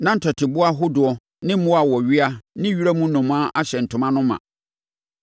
Na ntɔteboa ahodoɔ ne mmoa a wɔwea ne wiram nnomaa ahyɛ saa ntoma no ma.